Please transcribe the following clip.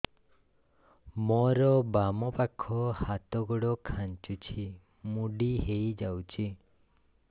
ମୋର ବାମ ପାଖ ହାତ ଗୋଡ ଖାଁଚୁଛି ମୁଡି ହେଇ ଯାଉଛି